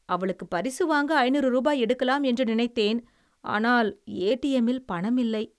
அவளுக்கு பரிசு வாங்க ஐநூறு ரூபாய் எடுக்கலாம் என்று நினைத்தேன், ஆனால் ஏடிஎம்மில் பணம் இல்லை.